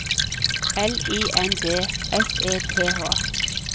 L I N D S E T H